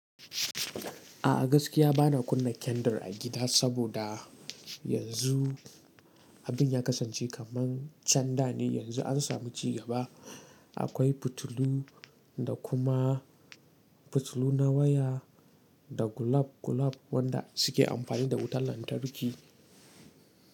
A gaskiya bana kunna kendar a gida saboda yanzu abin ya kasance kaman can da ne, yanzu an samu ci gaba. Akwai fitilu da kuma fitilu na waya da gulab gulab wanda suke amfani da wutar lantarki.